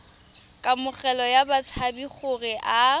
kamogelo ya batshabi gore a